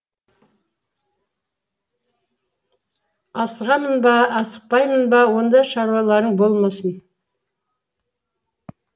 асығамын ба асықпаймын ба онда шаруаларың болмасын